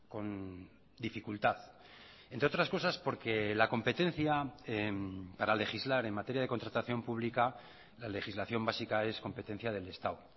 con dificultad entre otras cosas porque la competencia para legislar en materia de contratación pública la legislación básica es competencia del estado